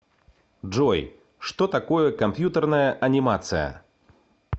джой что такое компьютерная анимация